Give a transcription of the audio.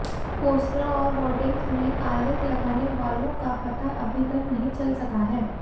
पोस्टरों और होर्डिंग में कालिख लगाने वालों का पता अभी तक नहीं चल सका है